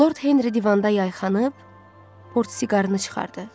Lord Henri divanda yayxanıb, portsiqarını çıxardı.